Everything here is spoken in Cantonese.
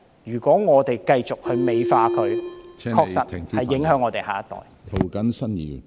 如果我們繼續......美化罪行，確實會影響我們的下一代。